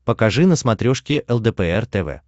покажи на смотрешке лдпр тв